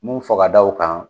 Mun fɔ ka da o kan